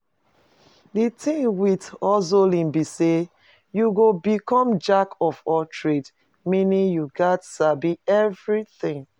The thing with hustling be say you go become jack of all trade, meaning you gats sabi everything